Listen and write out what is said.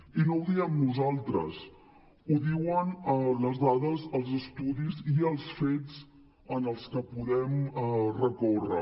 i no ho diem nosaltres ho diuen les dades els estudis i els fets als que podem recórrer